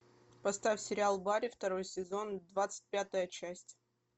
поставь сериал барри второй сезон двадцать пятая часть